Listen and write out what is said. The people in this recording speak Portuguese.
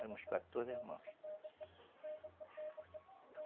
Éramos quatorze irmãos.